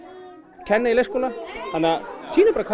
kenna í leikskóla sýnum bara hvað